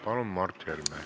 Palun, Mart Helme!